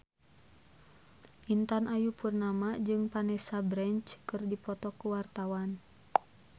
Intan Ayu Purnama jeung Vanessa Branch keur dipoto ku wartawan